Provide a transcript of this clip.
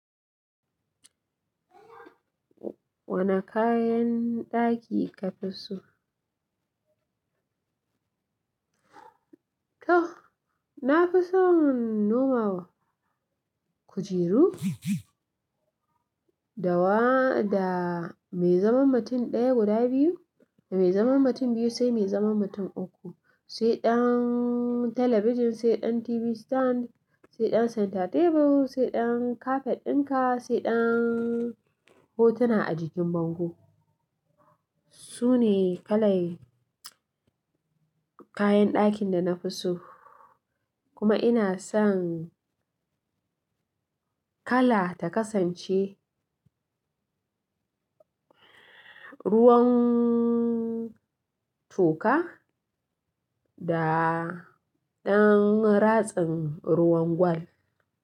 Wane kayan ɗaki ka fi so? To, na fi son nomal, kujeru, dawa da mai zaman mutum ɗaya guda biyu, da mai zaman mutum biyu sai mai zaman mutum uku, sai ɗan talabijin, sai ɗan TV stand, sai ɗan center table, sai ɗan kafet ɗinka, sai ɗan hotuna a jikin bango. Su ne kalan kayan ɗakin da na fi so. Kuma ina son kala ta kasance ruwan toka da ɗan ratsin ruwan gwal.